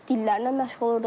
Dillərlə məşğul olurdum.